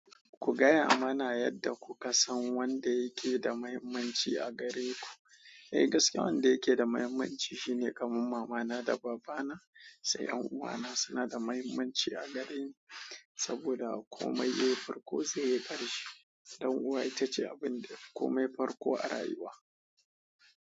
Ku gaya mana yanda kuka san wanda yake da muhammanci a gareku eh gaskiya wanda yake da muhimmanci shine kamar mamana da babana sai ƴan uwa na suna da muhimmanci a gare ni saboda komai yai farko zai yi ƙarshe. Ɗan uwa ita ce abun da ya fi komai farƙo a rayuwa.